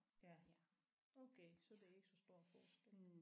Ja okay så det er ikke så stor en forskel